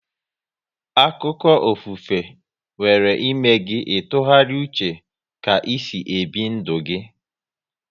Akụkọ ofufe nwere ịme gị ị tụgharịa uche ka e si ebi ndụ gi